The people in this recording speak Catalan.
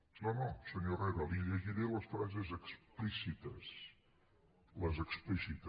no no senyor herrera li llegiré les frases explícites les explícites